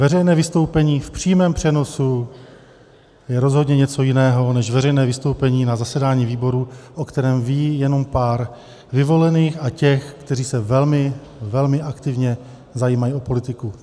Veřejné vystoupení v přímém přenosu je rozhodně něco jiného než veřejné vystoupení na zasedání výboru, o kterém ví jenom pár vyvolených a těch, kteří se velmi, velmi aktivně zajímají o politiku.